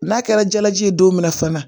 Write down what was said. N'a kɛra jalaji ye don min na fana